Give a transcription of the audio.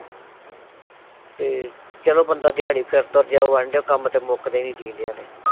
ਤੇ ਚਲੋ ਬੰਦਾ ਦਿਆੜੀ ਫਿਰ ਤੁਰ ਜਾਉ ਬਾਂਡੇ ਕੰਮ ਤੇ ਮੁੱਕਦੇ ਨੀ ਈ ਜੀਂਦਿਆ ਦੇ